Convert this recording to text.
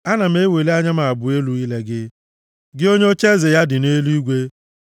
Ana m eweli anya m abụọ elu ile gị, gị onye ocheeze ya dị nʼeluigwe.